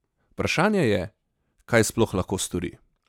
Vprašanje je, kaj sploh lahko stori?